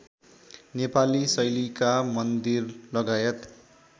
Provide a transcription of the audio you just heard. नेपाली शैलीका मन्दिरलगायत